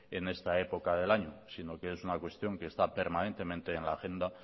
en esta época del año sino que es una cuestión que está permanentemente en la agenda